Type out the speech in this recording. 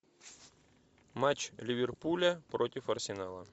матч ливерпуля против арсенала